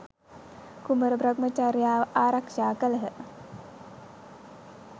කුමර බ්‍රහ්මචර්යාව ආරක්ෂා කළහ.